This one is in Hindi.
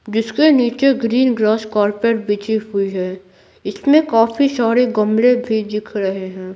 जिसके नीचे ग्रीन ग्रास कार्पेट बिजी हुई है इसमें काफी सारे गमले भी दिख रहे हैं।